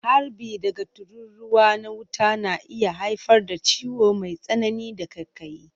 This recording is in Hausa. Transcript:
Harbi daga tururuwa na wuta na iya haifar da ciwo mai tsanani da ƙaiƙayi.